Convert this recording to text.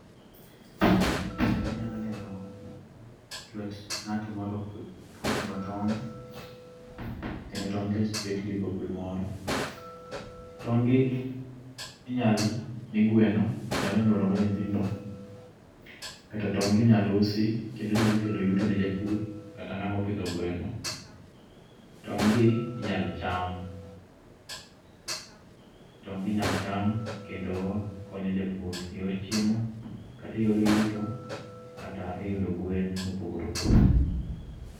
E pichani anyalo neno lwet ng'at moro kot koting'o tong', kendo tong' gi oketgi e bakul moro. Tong' gi, inyalo mi gweno , nyalo nyuologo nyithindo, kata tong' gi inyalo usi kendo nyalo kelo yuto ne japur kata ng'ama opidho gweno. Tong' gi inyalo cham, tong' gi inyalo cham kendo konyo japur eyor chiemo kata eyor yuto kata eyudo gwen mopogore opogore.